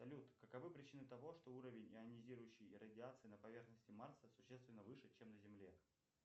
салют каковы причины того что уровень ионизирующей радиации на поверхности марса существенно выше чем на земле